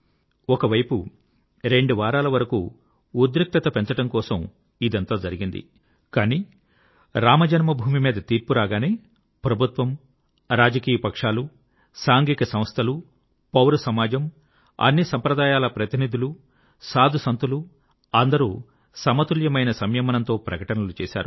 ఒక వైపు రెండు వారాల వరకూ ఉద్రిక్తత పెంచడం కోసం ఇదంతా జరిగింది కానీ రామజన్మభూమి మీద తీర్పు రాగానే ప్రభుత్వము రాజకీయపక్షాలు సాంఘిక సంస్థలు పౌర సమాజం అన్ని సంప్రదాయాల ప్రతినిధులు సాధు సంత్ లు అందరూ సమతుల్యమైన సంయమనంతో ప్రకటనలు చేశారు